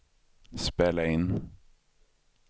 spela in